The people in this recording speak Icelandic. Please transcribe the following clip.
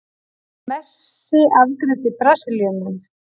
Messi afgreiddi Brasilíumenn